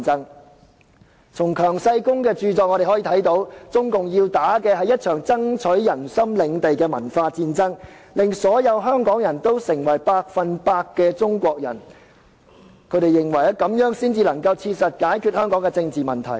我們從強世功的著作可見，中共要打一場爭取人心領地的文化戰爭，令所有香港人成為百分百的中國人，這樣才能切實解決香港的政治問題。